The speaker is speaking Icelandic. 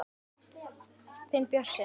Þinn Bjössi.